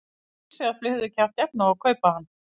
Hann vissi að þau höfðu ekki haft efni á að kaupa hann.